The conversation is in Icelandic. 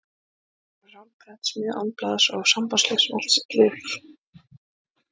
Hann verður án prentsmiðju, án blaðs og sambandslaus við allt sitt lið.